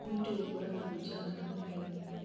nĩ ũritũ gũkũrana ahunjia a maa na a maheni